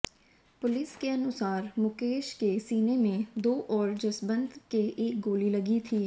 police के अनुसार मुकेश के सीने में दो और जसबंत के एक गोली लगी थी